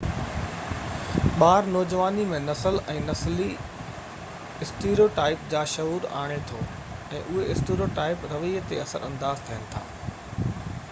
ٻار نوجواني ۾ نسل ۽ نسلي اسٽيريوٽائپ جا شعور آڻي ٿو ۽ اهي اسٽيريوٽائپ رويي تي اثر انداز ٿين ٿا